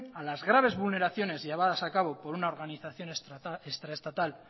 a las graves vulneraciones llevadas a cabo por una organización extra estatal